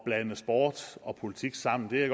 blande sport og politik sammen det er